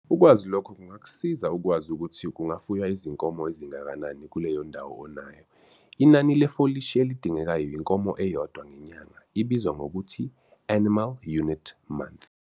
Ukwazi lokho kungakusiza ukwazi ukuthi kungafuywa izinkomo ezingakanani kuleyo ndawo onayo. Inani lefolishi elidingekayo inkomo eyodwa ngenyanga ibizwa ngokuthi 'Animal Unit Month.